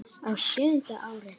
Á sjöunda ári